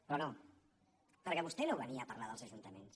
però no perquè vostè no venia a parlar dels ajuntaments